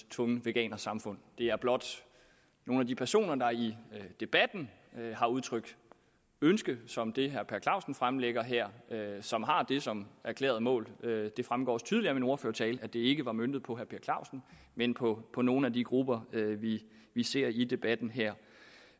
tvunget veganersamfund det er blot nogle af de personer der i debatten har udtrykt ønske som det herre per clausen fremlægger her som har det som erklæret mål det fremgår også tydeligt af min ordførertale at det ikke var møntet på per clausen men på på nogle af de grupper vi ser i debatten her